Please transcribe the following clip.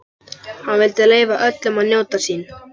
Hann vildi leyfa öllum að njóta sín.